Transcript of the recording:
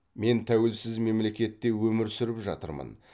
мен тәуелсіз мемлекетте өмір сүріп жатырмын